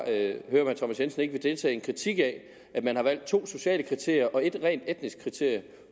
herre thomas jensen ikke vil deltage i en kritik af at man har valgt to sociale kriterier og et rent teknisk kriterium